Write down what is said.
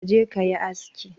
Ka je kayi asiki